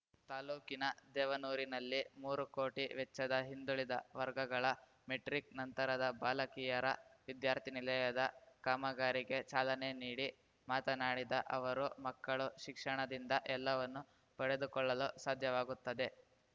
ತಾಲೂಕಿನ ದೇವನೂರಿನಲ್ಲಿ ಮೂರು ಕೋಟಿ ವೆಚ್ಚದ ಹಿಂದುಳಿದ ವರ್ಗಗಳ ಮೆಟ್ರಿಕ್‌ ನಂತರದ ಬಾಲಕಿಯರ ವಿದ್ಯಾರ್ಥಿ ನಿಲಯದ ಕಾಮಗಾರಿಗೆ ಚಾಲನೆ ನೀಡಿ ಮಾತನಾಡಿದ ಅವರು ಮಕ್ಕಳು ಶಿಕ್ಷಣದಿಂದ ಎಲ್ಲವನ್ನು ಪಡೆದುಕೊಳ್ಳಲು ಸಾಧ್ಯವಾಗುತ್ತದೆ